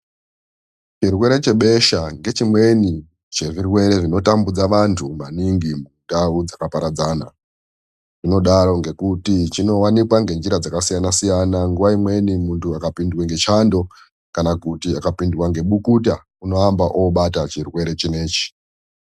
Chirwere chebesha ngechimweni chezvirwere zvinotambudza vantu maningi mundau dzakaparadzana. Chinodaro ngekuti chinovanikwa ngenjira dzakasiyana-siyana, nguva imweni muntu akapindwa ngechando kana kuti akapindwa ngebukuta, unoamba obatwa ngechirwere chinoichi.